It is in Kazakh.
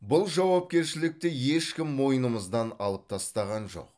бұл жауапкершілікті ешкім мойнымыздан алып тастаған жоқ